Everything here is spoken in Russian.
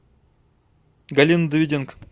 галина давыденко